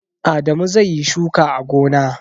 Adamu zai yi shuka a gona.